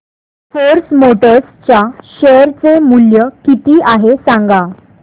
force Motors च्या share चे मूल्य किती आहे सांगा